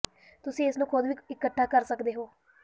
ਤੁਸੀਂ ਇਸ ਨੂੰ ਖੁਦ ਵੀ ਇਕੱਠਾ ਕਰ ਸਕਦੇ ਹੋ